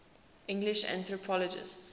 english anthropologists